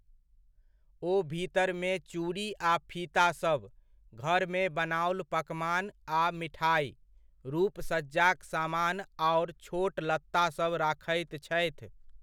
ओ भीतरमे चूड़ी आ फीता सभ, घरमे बनाओल पकमान आ मिठाइ, रूप सज्जाक सामान आओर छोट लत्तासभ राखैत छथि।